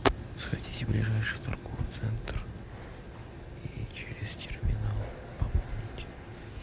сходите в ближайший торговый центр и через терминал пополните